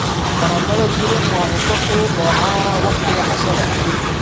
Baradhada duban waa cunto fudud oo caan ah wakhtiga cashada.